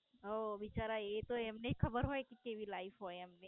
હા બિચારા એ તો એમને જ ખબર હોય કે કેવી Life હોય એમને.